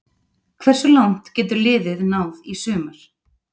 Hversu langt getur liðið náð í sumar?